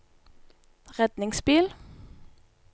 redningsbil